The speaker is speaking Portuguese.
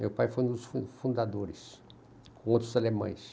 Meu pai foi um dos fun fundadores, com outros alemães.